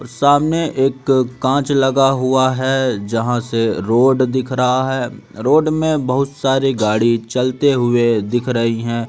सामने एक कांच लगा हुआ है जहां से रोड दिख रहा है रोड में बहुत सारी गाड़ी चलते हुए दिख रही हैं।